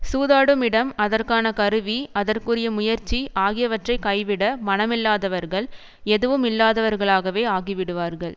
சூதாடும் இடம் அதற்கான கருவி அதற்குரிய முயற்சி ஆகியவற்றை கைவிட மனமில்லாதவர்கள் எதுவும் இல்லாதவர்களாகவே ஆகிவிடுவார்கள்